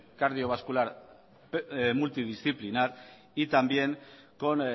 cardiovascular multidisciplinar y también con